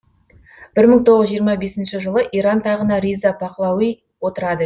бір мың тоғыз жүз жиырма бесінші жылы иран тағына риза пақлауи отырады